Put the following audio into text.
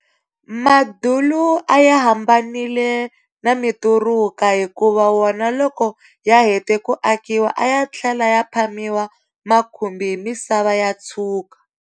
Madulu a ya hambanile na mituruka hikuva wona loko ya hete ku akiwa a ya tlhela ya phamiwa makhumbi hi misava ya tshuka.